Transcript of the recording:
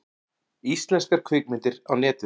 Íslenskar kvikmyndir á Netið